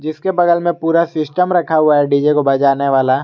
इसके बगल में पूरा सिस्टम रखा हुआ है डी_जे को बजाने वाला।